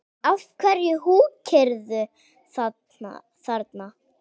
Af hverju húkirðu þarna?